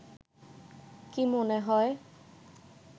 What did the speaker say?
কি মনে হয়